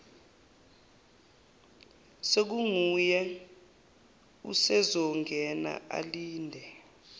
sekunguye usezongena alinde